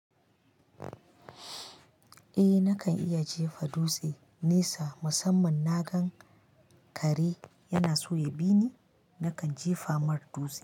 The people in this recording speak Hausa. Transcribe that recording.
Eh nakan iya jefa dutse nesa musamman na gan kare yana so ya bi ni, nakan jefa mar dutse.